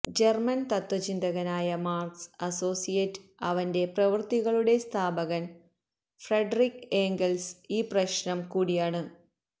German തത്വചിന്തകനായ Marx associate അവന്റെ പ്രവൃത്തികളുടെ സ്ഥാപകൻ ഫ്രെഡറിക് ഏംഗൽസ് ഈ പ്രശ്നം കൂടിയാണ്